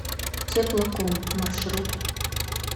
теплоком маршрут